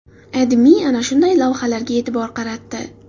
AdMe ana shunday lavhalarga e’tibor qaratdi.